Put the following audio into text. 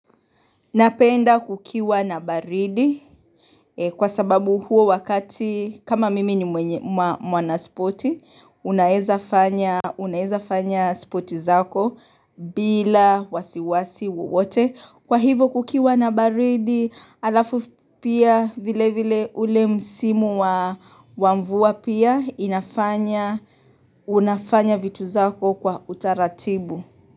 Napenda kukiwa na baridi Kwa sababu huo wakati kama mimi ni mwanaspoti unaeza fanya spoti zako bila wasiwasi wowote Kwa hivo kukiwa na baridi alafu pia vile vile ule msimu wa mvua pia inafanya unafanya vitu zako kwa utaratibu.